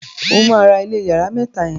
ọ má rà ilé iyàrá mẹta yen.